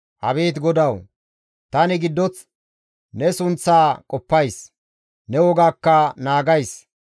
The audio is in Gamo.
Abeet GODAWU! Tani giddoth ne sunththaa qoppays; ne wogaakka naagays.